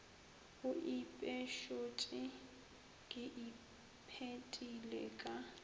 o ipešotše ke iphetile ka